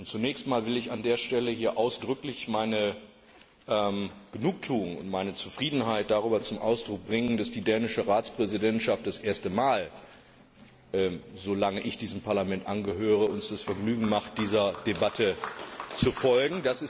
Zunächst einmal will ich an dieser Stelle ausdrücklich meine Genugtuung und meine Zufriedenheit darüber zum Ausdruck bringen, dass die dänische Ratspräsidentschaft das erste Mal, solange ich diesem Parlament angehöre, uns das Vergnügen macht, dieser Debatte zu folgen.